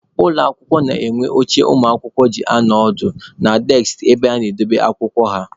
Ụlọ akwụkwọ na-enwe oche ụmụakwụkwọ ji anọ ọdụ na deskị ebe ha na-edobe akwụkwọ ha.